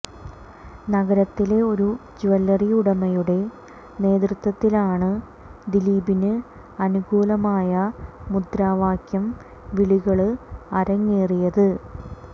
നഗരത്തിലെ ഒരു ജ്വല്ലറി ഉടമയുടെ നേതൃത്വത്തിലാണ് ദിലീപിന് അനുകൂലമായ മുദ്രാവാക്യം വിളികള് അരങ്ങേറിയത്